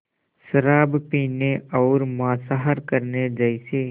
शराब पीने और मांसाहार करने जैसे